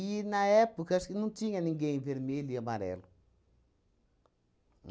na época, acho que não tinha ninguém vermelho e amarelo.